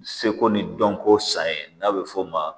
Seko ni dɔnko san ye n'a bɛ f'o ma